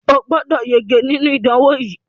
O gbọ́dọ̀ yege nínú ìdánwò yìí!